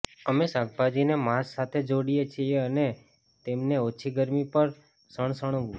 અમે શાકભાજીને માંસ સાથે જોડીએ છીએ અને તેમને ઓછી ગરમી પર સણસણવું